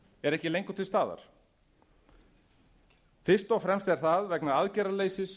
er ekki lengur til staðar fyrst og fremst er það vegna aðgerðaleysis